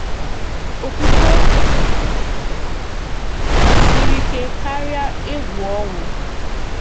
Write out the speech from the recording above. Okwukwe Siri Ike Kárịa Egwú Ọnwụ.